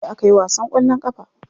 Jiya akayi wasan kwallon kafa.